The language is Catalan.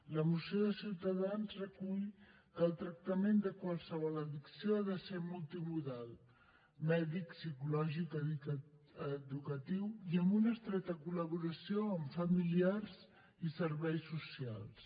la moció de ciutadans recull que el tractament de qualsevol addicció ha de ser multimodal mèdic psicològic educatiu i amb una estreta col·laboració amb familiars i serveis socials